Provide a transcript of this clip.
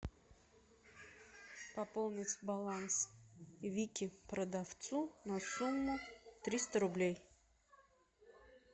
пополнить баланс вике продавцу на сумму триста рублей